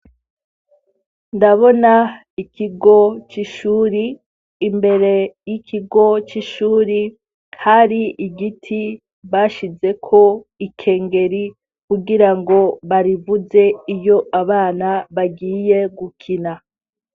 Ndabona ikigo c'ishuri, imbere y'ikigo c'ishuri hari igiti bashizeko ikengeri kugira ngo barivuze iyo abana bagiye gukina.